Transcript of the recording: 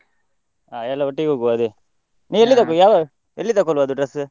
ಹಾ ಎಲ್ಲ ಒಟ್ಟಿಗೆ ಹೋಗ್ವ ಅದೇ, ಯಾವ, ಎಲ್ಲಿ ತಕೋಳ್ವ ಅದು dress ?